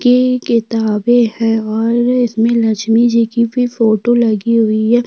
की किताबे है और इसमें लक्ष्मी जी की भी फोटो लगी हुई है।